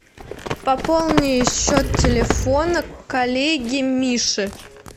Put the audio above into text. пополни счет телефона коллеги миши